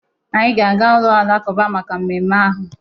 Anyị ga-aga ụlọ alakụba maka mmemme ahụ